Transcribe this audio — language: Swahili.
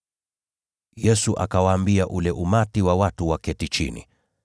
Yesu akawaambia ule umati wa watu waketi chini.